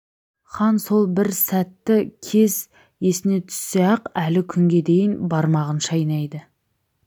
хан сол бір сәтті кез есіне түссе-ақ әлі күнге дейін бармағын шайнайды